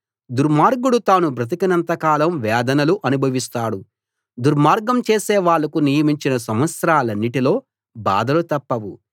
దుర్మార్గుడు తాను బ్రతికినంత కాలం వేదనలు అనుభవిస్తాడు దుర్మార్గం చేసే వాళ్ళకు నియమించిన సంవత్సరాలన్నిటిలో బాధలు తప్పవు